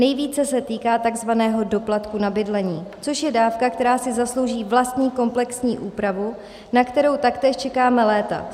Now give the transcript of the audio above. Nejvíce se týká takzvaného doplatku na bydlení, což je dávka, která si zaslouží vlastní komplexní úpravu, na kterou taktéž čekáme léta.